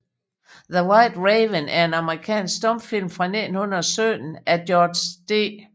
The White Raven er en amerikansk stumfilm fra 1917 af George D